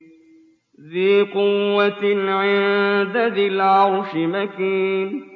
ذِي قُوَّةٍ عِندَ ذِي الْعَرْشِ مَكِينٍ